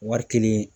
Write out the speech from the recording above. Wari kɛlen